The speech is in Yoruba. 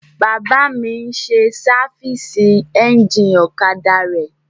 Bàbá mi n sáfìsì éjìnì ọ̀kadà rẹ̀